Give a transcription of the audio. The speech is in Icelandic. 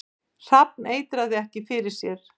Hrafn eitraði ekki fyrir sér